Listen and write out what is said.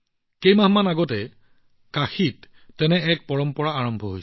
কেইমাহমান আগতে কাশীত তেনে এটা পৰম্পৰা আৰম্ভ হৈছিল